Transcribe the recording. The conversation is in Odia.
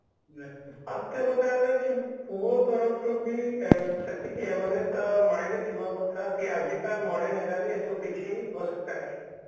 ଆଉ ଦିତୀୟ କଥା ହେଲା କି ପୁଅ ତରଫରୁ ବି ସେତିକି Awareness ତା mind ରେ ଥିବା କଥା କି ଆଜିକା modern era ରେ ଏଇ ସବୁ କିଛି ଆବଶ୍ୟକତା ନାହିଁ